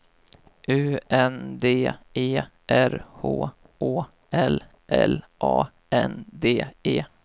U N D E R H Å L L A N D E